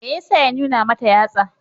Me ya sa ya nuna mata yatsa?